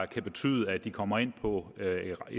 kan betyde at de kommer ind på